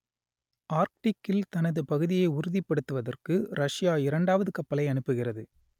ஆர்க்டிக்கில் தனது பகுதியை உறுதிப்படுத்துவதற்கு ரஷ்யா இரண்டாவது கப்பலை அனுப்புகிறது